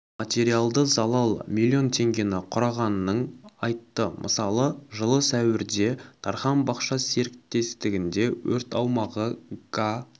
материалды залал млн теңгені құрағанның айтты мысалы жылы сәуірде дархан бақша серіктестігінде өрт аумағы га